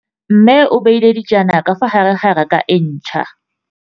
Mmê o beile dijana ka fa gare ga raka e ntšha.